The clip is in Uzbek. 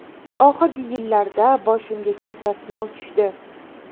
Oxirgi yillarda boshimga katta sinov tushdi.